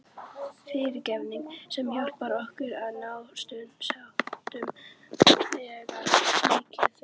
FYRIRGEFNING- sem hjálpar okkur að ná sáttum þegar miður fer.